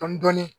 Dɔɔnin-dɔɔnin